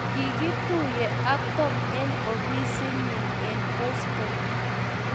kikituye ak Tom eng ofisit nyin eng Boston.